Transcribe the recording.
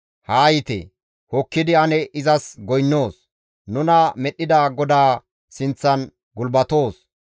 Haa yiite! Hokkidi ane izas goynnoos; nuna medhdhida GODAA sinththan gulbatoos.